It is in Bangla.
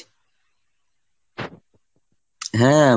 হ্যাঁ